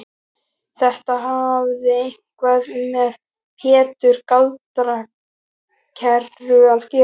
Þetta hafði eitthvað með Pétur gjaldkera að gera.